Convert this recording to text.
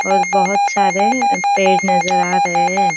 और बहुत सारे पेड़ नजर आ रहे है।